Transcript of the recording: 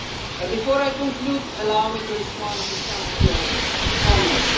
But before I conclude, allow me to respond to some of your comments.